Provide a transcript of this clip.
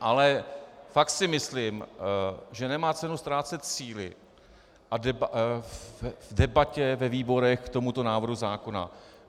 Ale fakt si myslím, že nemá cenu ztrácet síly v debatě ve výborech k tomuto návrhu zákona.